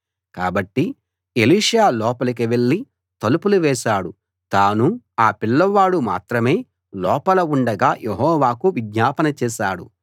కాబట్టి ఎలీషా లోపలికి వెళ్ళి తలుపులు వేశాడు తానూ ఆ పిల్లవాడూ మాత్రమే లోపల ఉండగా యెహోవాకు విజ్ఞాపన చేశాడు